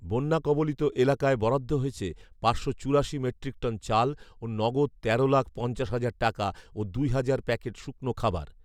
বন্যা কবলিত এলাকায় বরাদ্দ হয়েছে পাঁচশো চুরাশি মেট্রিকটন চাল ও নগদ তেরো লাখ পঞ্চাশ হাজার টাকা ও দুই হাজার প্যাকেট শুকনো খাবার